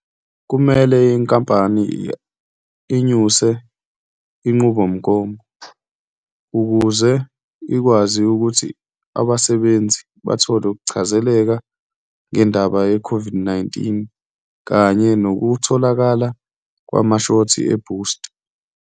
Kumele inkampani inyuse inqubomgomo ukuze ikwazi ukuthi abasebenzi bathole ukuchazeleka ngendaba ye-COVID-19 kanye nokutholakala kwamashothi ebhusta.